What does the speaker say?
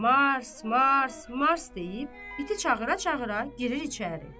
Mars, Mars, Mars deyib iti çağıra-çağıra girir içəri.